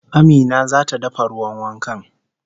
Amina zata dafa ruwan wankan